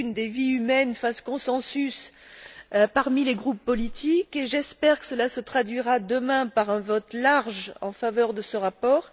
Kühn des vies humaines, fasse consensus parmi les groupes politiques, et j'espère que cela se traduira demain par un vote large en faveur de ce rapport.